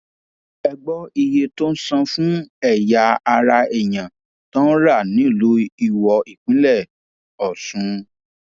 ẹ gbọ iye tó ń san fún ẹyà ara èèyàn tó ń rà nílùú iwọ ìpínlẹ ọsùn